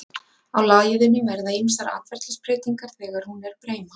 á læðunni verða ýmsar atferlisbreytingar þegar hún er breima